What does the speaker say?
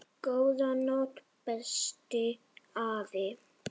Góða nótt, besti afi.